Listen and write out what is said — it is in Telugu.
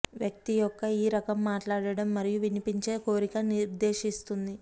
వ్యక్తి యొక్క ఈ రకం మాట్లాడటం మరియు వినిపించే కోరిక నిర్దేశిస్తుంది